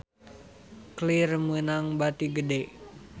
Clear meunang bati gede